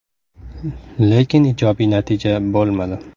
Lekin ijobiy natija bo‘lmadi.